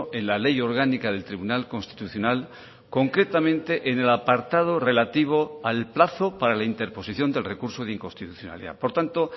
en la ley orgánica del tribunal constitucional concretamente en el apartado relativo al plazo para la interposición del recurso de inconstitucionalidad por tanto